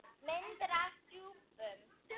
Myndir af rjúpum